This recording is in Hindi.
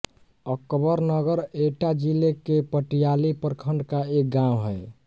अकबरनगर एटा जिले के पटियाली प्रखण्ड का एक गाँव है